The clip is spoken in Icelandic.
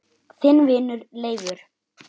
Þinn vinur Leifur.